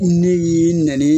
Ne y'i nɛnni